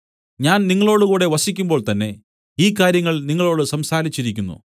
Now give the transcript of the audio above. ഞാൻ നിങ്ങളോടുകൂടെ വസിക്കുമ്പോൾത്തന്നെ ഈ കാര്യങ്ങൾ നിങ്ങളോടു സംസാരിച്ചിരിക്കുന്നു